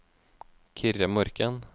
Kyrre Morken